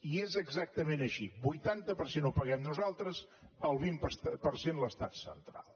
i és exactament així vuitanta per cent ho paguem nosaltres el vint per cent l’estat central